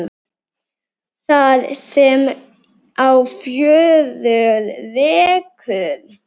Það sem á fjörur rekur